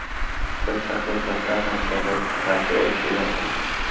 Biz haqiqatan ham tabiatga qarshi urush e’lon qildik.